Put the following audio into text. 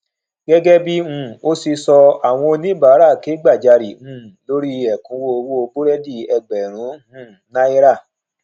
gẹgẹ bí um o ṣe sọ àwọn oníbàárà ke gbajare um lórí ekunwo owó burẹdi ẹgbẹrun um náírà